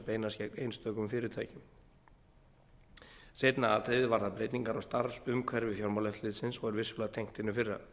beinast gegn einstökum fyrirtækjum eins atriðið varðar breytingar á starfsumhverfi fjármálaeftirlitsins og er vissulega tengt hinu fyrra